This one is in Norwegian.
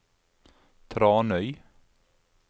Tranøy